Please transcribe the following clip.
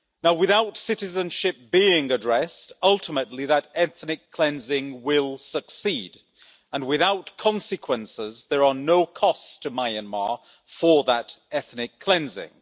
Without citizenship being addressed, ultimately that ethnic cleansing will succeed, and without consequences there are no costs to Myanmar for that ethnic cleansing.